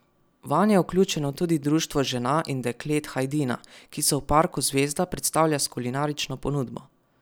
Vanj je vključeno tudi Društvo žena in deklet Hajdina, ki se v parku Zvezda predstavlja s kulinarično ponudbo.